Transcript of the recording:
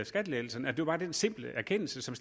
skattelettelserne det var bare den simple erkendelse som